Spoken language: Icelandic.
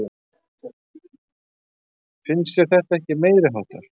Finnst þér þetta ekki meiriháttar?